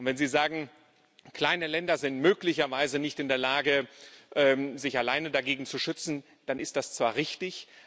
Und wenn Sie sagen, kleine Länder seien möglicherweise nicht in der Lage, sich alleine dagegen zu schützen, dann ist das zwar richtig.